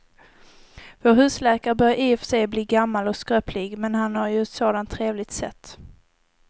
Vår husläkare börjar i och för sig bli gammal och skröplig, men han har ju ett sådant trevligt sätt!